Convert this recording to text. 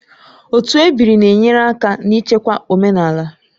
Otu ebiri na-enyere aka n'ichekwa omenala